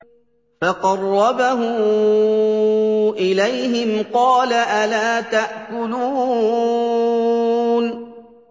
فَقَرَّبَهُ إِلَيْهِمْ قَالَ أَلَا تَأْكُلُونَ